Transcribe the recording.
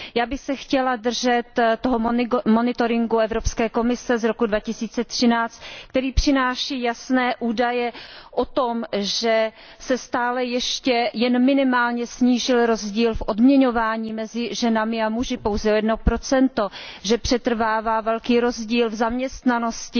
Já bych se chtěla držet toho monitoringu Evropské komise z roku 2013, který přináší jasné údaje o tom, že se stále ještě jen minimálně snížil rozdíl v odměňování mezi ženami a muži pouze o 1 že přetrvává velký rozdíl v zaměstnanosti